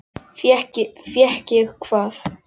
Fékk ég hvað?